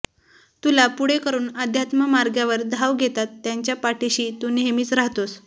तुला पुढे करून अध्यात्ममार्गावर धाव घेतात त्यांच्या पाठीशी तू नेहमीच राहतोस